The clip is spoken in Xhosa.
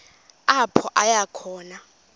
apho aya khona